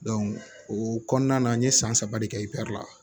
o kɔnɔna na n ye san saba de kɛ la